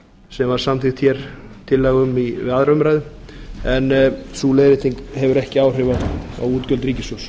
sem var samþykkt tillaga um við aðra umræðu en sú leiðrétting hefur ekki áhrif á útgjöld ríkissjóðs